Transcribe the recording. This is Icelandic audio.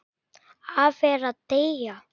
Afi er að deyja.